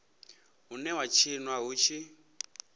une wa tshinwa hu tshi